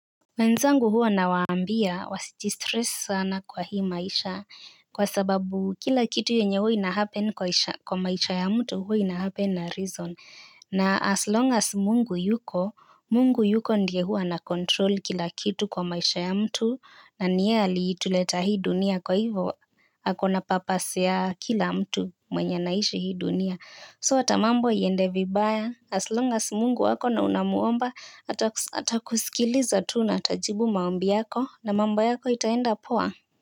Wenzangu huwa na waambia wasijistress sana kwa hii maisha kwa sababu kila kitu yenye huwa inahappen kwa maisha ya mtu huwa inahappen na reason. Na as long as mungu yuko, mungu yuko ndie huwa anakontrol kila kitu kwa maisha ya mtu na ni yeye alituleta hii dunia kwa hivo akona papasi ya kila mtu mwenye naishi hii dunia. So hata mambo yende vibaya aslongas mungu wako na unamuomba atakusikiliza tu na atajibu maombi yako na mambo yako itaenda poa.